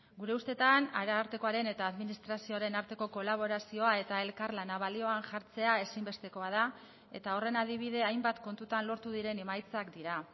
gure ustetan arartekoaren eta administrazioaren arteko kolaborazioa eta elkarlana balioan jartzea ezinbestekoa da eta horren adibide hainbat kontutan lortu diren emaitzak dira